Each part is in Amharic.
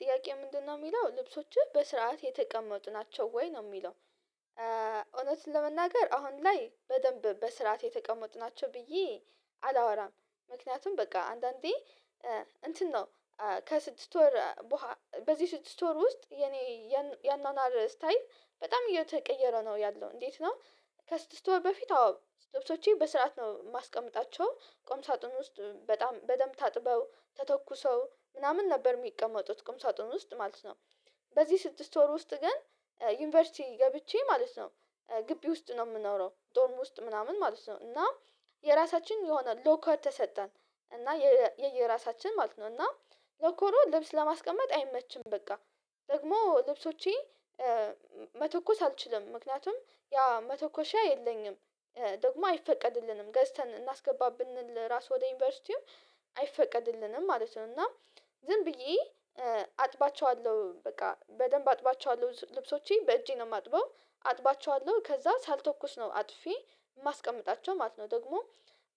ጥያቄው ምንድነው የሚለው ልብሶችህ በስርዓት የተቀመጡ ናቸው ወይ ነው የሚለው? እውነትን ለመናገር አሁን ላይ በደንብ በስርዓት የተቀመጥናቸው ብዬ አላወራም። ምክንያቱም በቃ አንዳንዴ እንትን ነው ከስድስት ወር በዚህ ስድስት ወር ውስጥ የኔ ያኗኗር ስታይል በጣም እየተቀየረ ነው ያለው እንዴት ነው? ከስድስት ወር በፊት አዎ ልብሶቼ በስርዓት ነው የማስቀምጣቸው ቁም ሳጥን ውስጥ በጣም በደንብ ታጥበው ተተኩሰው ምናምን ነበር የሚቀመጡት ቁም ሳጥን ውስጥ ማለት ነው። በዚህ ስድስት ወር ውስጥ ግን ዩኒቨርሲቲ ገብቼ ማለት ነው ግቢ ውስጥ ነው ምኖረው ዶርም ውስጥ ምናምን ማለት ነው። እና የራሳችን የሆነ ሎከር ተሰጠን እና የየራሳችን ማለት ነው እና ሎኮሮ ልብስ ለማስቀመጥ አይመችም በቃ ደግሞ ልብሶቼ መተኮስ አልችልም። ምክንያቱም ያ መተኮሻ የለኝም ደግሞ አይፈቀድልንም ገዝተን እናስገባ ብንል ራሱ ወደ ዩኒቨርስቲው አይፈቀድልንም ማለት ነው። እና ዝም ብዬ አጥባቸዋለሁ በቃ በደንብ አጥባቸዋለሁ ልብሶቼ በእጄ ነው የማጥበው አጥባቸዋለሁ ከዛ ሳልተኮስ ነው አጥፊ የማስቀምጣቸው ማለት ነው። ደግሞ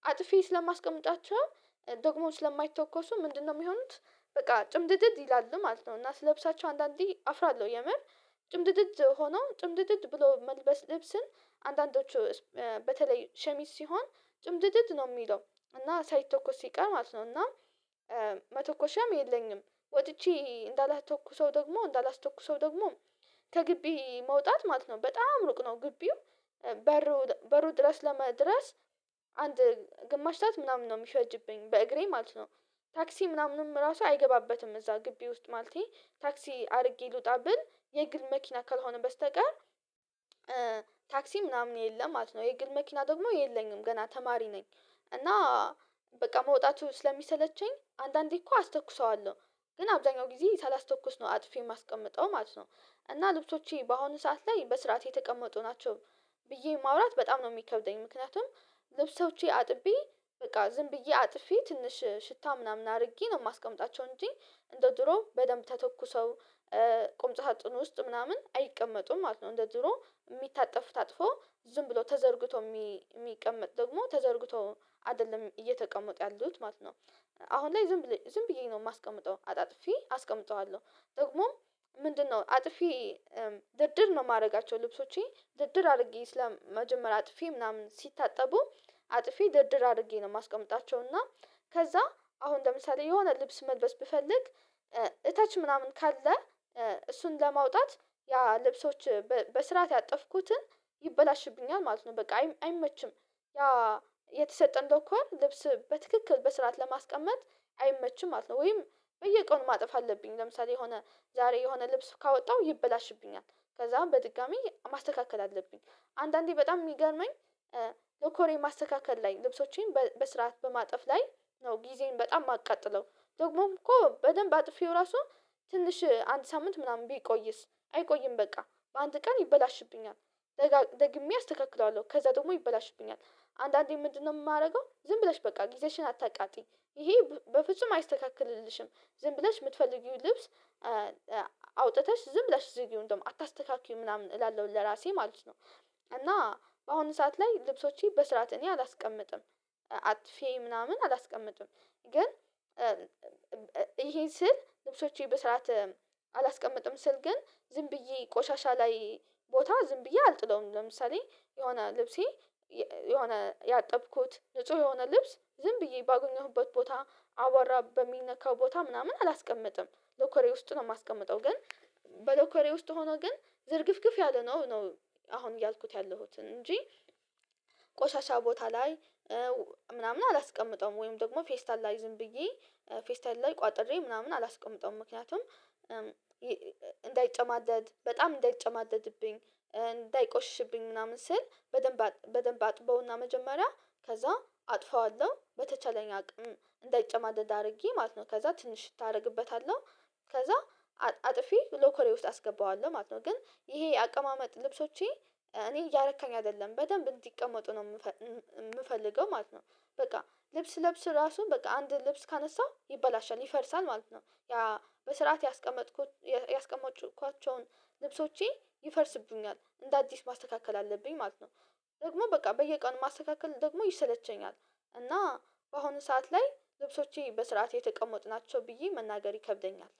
አጥፌ ስለማስቀምጣቸው ደግሞ ስለማይተኮሱ ምንድነው የሚሆኑት በቃ ጭምድድድ ይላሉ ማለት ነው። እና ስለብሳቸው አንዳንዴ አፍራለሁ የምር ጭምድድድ ሆኖ ጭምድድድ ብሎ መልበስ ልብስን አንዳንዶቹ በተለይ ሸሚዝ ሲሆን ጭምድድድ ነው የሚለው እና ሳይተኮስ ሲቀር ማለት ነው እና መተኮሻም የለኝም። ወጥቼ እንዳላስተኩሰው ደግሞ እንዳላስተኩሰው ደግሞ ከግቢ መውጣት ማለት ነው በጣም ሩቅ ነው ግቢው በሩ በሩ ድረስ ለመድረስ አንድ ግማሽ ሳት ምናምን ነው የሚፈጅብኝ በእግሬ ማለት ነው። ታክሲ ምናምንም ራሱ አይገባበትም እዛ ግቢ ውስጥ ማለቴ ታክሲ አርጌ ልውጣ ብል የግል መኪና ካልሆነ በስተቀር ታክሲ ምናምን የለም ማለት ነው። የግል መኪና ደግሞ የለኝም ገና ተማሪ ነኝ። እና በቃ መውጣቱ ስለሚሰለቸኝ አንዳንዴ እኮ አስተኩሰዋለሁ ግን አብዛኛው ጊዜ ሳላስተኩስ ነው አጥፌ የማስቀምጠው ማለት ነው። እና ልብሶቼ በአሁኑ ሰዓት ላይ በስርዓት የተቀመጡ ናቸው። ብዬ ማውራት በጣም ነው የሚከብደኝ ምክንያቱም ልብሶቼ አጥቤ በቃ ዝም ብዬ አጥፌ ትንሽ ሽታ ምናምን አርጌ ነው የማስቀምጣቸው እንጂ እንደ ድሮ በደንብ ተተኩሰው ቁም ሳጥን ውስጥ ምናምን አይቀመጡም ማለት ነው። እንደ ድሮ ሚታጠፉ ታጥፎ ዝም ብሎ ተዘርግቶ የሚቀመጥ ደግሞ ተዘርግቶ አይደለም እየተቀመጡ ያሉት ማለት ነው። አሁን ላይ ዝም ብዬ ዝም ብዬ ነው የማስቀምጠው አጣጥፌ አስቀምጠዋለሁ ጥቅሙ ምንድነው? አጥፌ ድርድር ነው የማደርጋቸው ልብሶቼ ድርድር አድርጌ ስለ መጀመሪያ አጥፌ ምናምን ሲታጠቡ አጥፌ ድርድር አድርጌ ነው የማስቀምጣቸው እና ከዛ አሁን ለምሳሌ የሆነ ልብስ መልበስ ብፈልግ እተች ምናምን ካለ እሱን ለማውጣት ያ ልብሶች በስርዓት ያጠፍኩትን ይበላሽብኛል ማለት ነው በቃ አይመችም። ያ የተሰጠን ሎኮር ልብስ በትክክል በስራት ለማስቀመጥ አይመችም ማለት ነው። ወይም በየቀኑ ማጠፋ አለብኝ ለምሳሌ የሆነ ዛሬ የሆነ ልብስ ካወጣሁ ይበላሽብኛል ከዛም በድጋሚ ማስተካከል አለብኝ። አንዳንዴ በጣም የሚገርመኝ ለኮሬን ማስተካከል ላይ ልብሶቼን በስርዓት በማጥፍ ላይ ነው ጊዜን በጣም የማቃጥለው ደግሞም እኮ በደንብ አጥፌው ራሱ ትንሽ አንድ ሳምንት ምናምን ቢቆይስ አይቆይም በቃ በአንድ ቀን ይበላሽብኛል። ደግሜ አስተካክለዋለሁ ከዛ ደግሞ ይበላሽብኛል አንዳንዴ ምንድነው የማደርገው ዝም ብለሽ በቃ ጊዜሽን አታቃጥይ። ይሄ በፍጹም አይስተካከልልሽም። ዝም ብለሽ የምትፈልጊውን ልብስ አውጥተሽ ዝም ብለሽ ዝጊው እንደዉም አታስተካክይ ምናምን እላለሁ ለራሴ ማለት ነው። እና በአሁኑ ሰዓት ላይ ልብሶቼ በስርዓት እኔ አላስቀምጥም። አጥፌ ምናምን አላስቀምጥም ግን ይሄ ስል ልብሶቼ በስራት አላስቀምጥም ስል ግን ዝም ብዬ ቆሻሻ ላይ ቦታ ዝም ብዬ አልጥለውም። ለምሳሌ የሆነ ልብሴ የሆነ ያጠብኩት ንጹህ የሆነ ልብስ ዝም ብዬ ባገኘሁበት ቦታ አዋራ በሚነካው ቦታ ምናምን አላስቀምጥም። ሎኮሬ ውስጥ ነው የማስቀምጠው ግን በሎኮሬ ውስጥ ሆኖ ግን ዝርግፍግፍ ያለ ነው ነው አሁን እያልኩት ያለሁትን እንጂ ቆሻሻ ቦታ ላይ ምናምን አላስቀምጠውም ወይም ደግሞ ፌስታል ላይ ዝም ብዬ ፌስታል ላይ ቋጥሬ ምናምን አላስቀምጠውም። ምክንያቱም እንዳይጨማደድ በጣም እንዳይጨማደድብኝ እንዳይቆሽሽብኝ ምናምን ስል በደንብ በደንብ አጥበውና መጀመሪያ ከዛ አጥፈዋለሁ በተቻለኝ አቅም እንዳይጨማደድ አድርጌ ማለት ነው ከዛ ትንሽ ታረግበታለሁ ከዛ አጥፊ ሎከሬ ውስጥ አስገባዋለሁ ማለት ነው። ግን ይሄ የአቀማመጥ ልብሶቼ እኔ እያረካኝ አይደለም በደንብ እንዲቀመጡ ነው የምፈልገው ማለት ነው። በቃ ልብስ ስለብስ ራሱ በቃ አንድ ልብስ ካነሳው ይበላሻል ይፈርሳል ማለት ነው ያ በስርዓት ያቀመጥኩት ያስቀመጥኳቸውን ልብሶቼ ይፈርስብኛል እንደ አዲስ ማስተካከል አለብኝ ማለት ነው። ደግሞ በቃ በየቀኑ ማስተካከል ደግሞ ይሰለቸኛል እና በአሁኑ ሰዓት ላይ ልብሶቼ በስርዓት የተቀመጡ ናቸው ብዬ መናገር ይከብደኛል